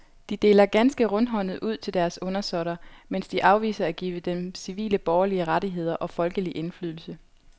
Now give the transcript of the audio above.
De deler ganske rundhåndet ud til deres undersåtter, mens de afviser at give dem civile borgerlige rettigheder og folkelig indflydelse.